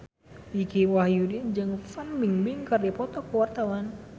Dicky Wahyudi jeung Fan Bingbing keur dipoto ku wartawan